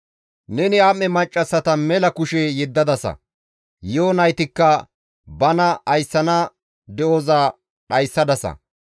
Neni am7e maccassata mela kushe yeddadasa; yi7o naytikka bana ayssana de7oza dhayssadasa.